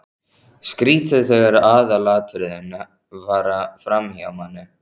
Skrýtið þegar aðalatriðin fara framhjá manni!